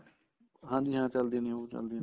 ਹਾਂਜੀ ਹਾਂ ਚੱਲਦੀ ਨੀ ਉਹ ਚੱਲਦੀ